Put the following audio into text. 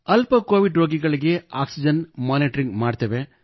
ಅಲ್ಪ ಕೋವಿಡ್ ರೋಗಿಗಳಿಗೆ oxygen monitoring ಮಾಡುತ್ತೇವೆ